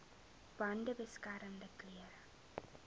bande beskermende klere